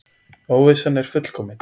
Óvissan er fullkomin.